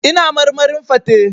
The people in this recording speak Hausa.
Ina marmarin fate.